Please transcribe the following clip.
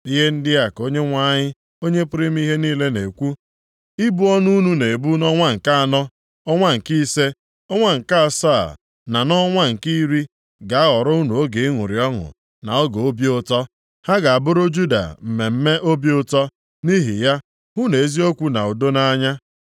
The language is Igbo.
Ihe ndị a ka Onyenwe anyị, Onye pụrụ ime ihe niile na-ekwu: “Ibu ọnụ unu na-ebu nʼọnwa nke anọ, ọnwa nke ise, ọnwa nke asaa na nʼọnwa nke iri ga-aghọrọ unu oge ịṅụrị ọṅụ na oge obi ụtọ. Ha ga-abụrụ Juda mmemme obi ụtọ. Nʼihi ya, hụnụ eziokwu na udo nʼanya.”